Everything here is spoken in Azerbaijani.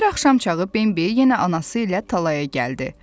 Bir axşam çağı Bembi yenə anası ilə talaya gəldi.